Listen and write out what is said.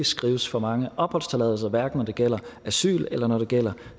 skrives for mange opholdstilladelser hverken når det gælder asyl eller når det gælder